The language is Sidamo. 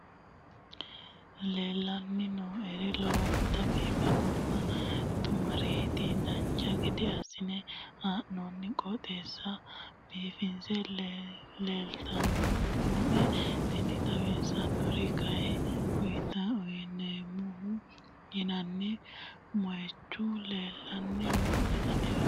leellanni nooeri lowonta biiffinonna xumareeti dancha gede assine haa'noonniti qooxeessano biiffinoti leeltanni nooe tini xawissannori kayi utaamoho yinanni moyichu leellanni nooe anera